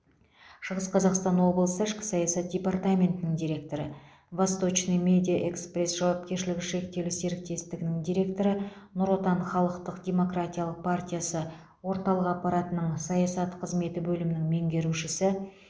шығыс қазақстан облысы ішкі саясат департаментінің директоры восточный медиа экспресс жауапкершілігі шектеулі серіктестігінің директоры нұр отан халықтық демократиялық партиясы орталық аппаратының саясат қызметі бөлімінің меңгерушісі